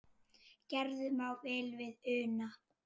Gerður má vel við una.